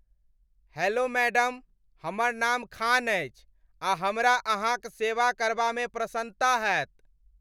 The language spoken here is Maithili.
हेलो मैडम, हमर नाम खान अछि आ हमरा अहाँक सेवा करबा में प्रसन्नता हेत ।